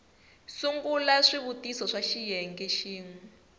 sungula swivutiso swa xiyenge xin